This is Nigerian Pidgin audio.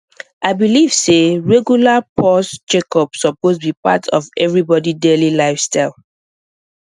i believe say regular pause checkup suppose be part of everybody daily lifestyle